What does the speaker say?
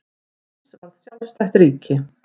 Sviss varð sjálfstætt ríki.